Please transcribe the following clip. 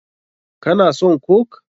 Ka na son coke?